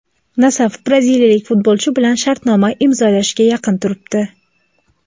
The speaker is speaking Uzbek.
"Nasaf" braziliyalik futbolchi bilan shartnoma imzolashga yaqin turibdi.